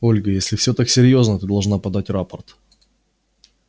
ольга если все так серьёзно ты должна подать рапорт